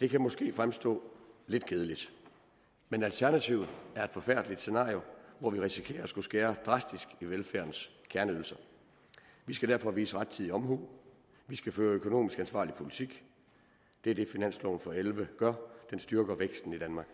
det kan måske fremstå lidt kedeligt men alternativet er et forfærdeligt scenario hvor vi risikerer at skulle skære drastisk i velfærdens kerneydelser vi skal derfor vise rettidig omhu vi skal føre økonomisk ansvarlig politik det er det finansloven for og elleve gør den styrker væksten i danmark